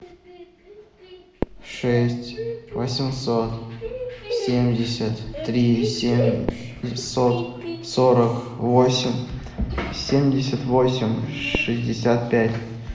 шесть восемьсот семьдесят три семьсот сорок восемь семьдесят восемь шестьдесят пять